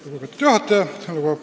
Lugupeetud juhataja!